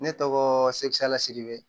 Ne tɔgɔ sepa siribe